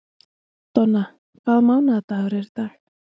Donna, hvaða mánaðardagur er í dag?